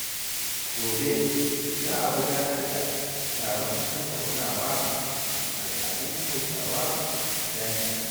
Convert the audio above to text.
Gobe, za a gudanar da taron tattaunawa kan al’adun Hausawa a jami’a.